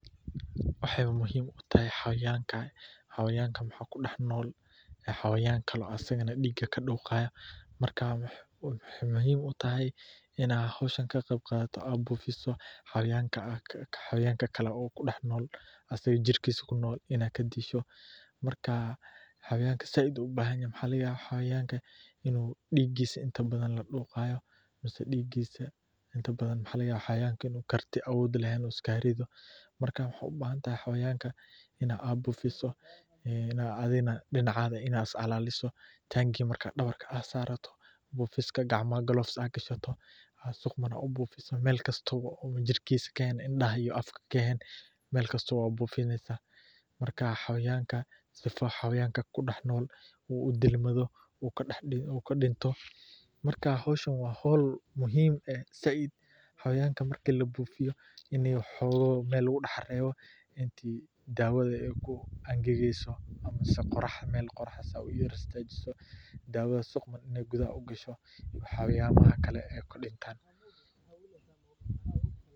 Waxeey muhiim utahay xawayanka waxaa kudex nool cawayankale, xawayanka inaad bufiso, oo kan kale aad kadisho, xawayanka xoog inuu leheen, gacmaha wax aad hashato, jirkiisa inaad bufiso indaha iyo afka ka when, in xooga meel lagu reebo, dawada inaay si fican gudaha ugasho.